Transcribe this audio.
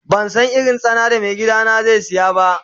Ban san irin tsana da mai gida na zai siya ba.